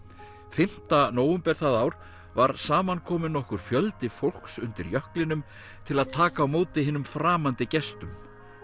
fimmta nóvember það ár var saman kominn nokkur fjöldi fólks undir jöklinum til að taka á móti hinum framandi gestum